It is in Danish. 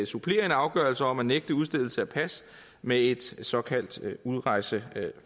supplere en afgørelse om at nægte udstedelse af pas med et såkaldt udrejseforbud